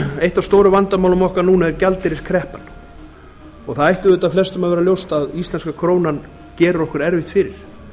eitt af stóru vandamálunum okkar núna er gjaldeyriskreppan það ætti auðvitað flestum að vera ljóst að íslenska krónan gerir okkur erfitt fyrir